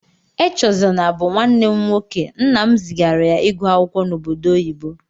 Echezona bú nwanne m nwoke, nnam zigara ya ịgụ akwụkwọ n'obodo oyibo.